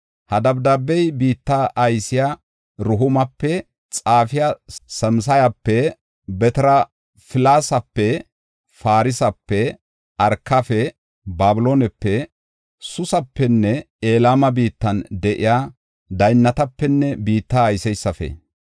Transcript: “Ha dabdaabey biitta aysiya Rehuumape, xaafiya Simsayape, Beteraplesape, Farsepe, Arkafe, Babiloonepe Suusapenne Elama biittan de7iya daynnatapenne biitta ayseysafe,